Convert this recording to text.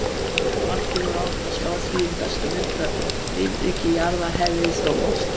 Margir voru að átta sig á því um þessar mundir að lífríki jarðar hefði þróast.